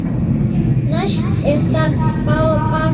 Næst er það bambus.